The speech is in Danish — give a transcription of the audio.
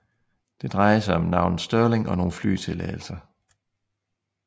Det drejede sig om navnet Sterling og nogle flytilladelser